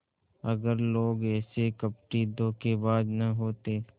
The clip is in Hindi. अगर लोग ऐसे कपटीधोखेबाज न होते